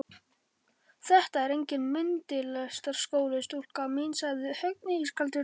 Þetta er enginn myndlistarskóli, stúlka mín sagði Högni ískaldri röddu.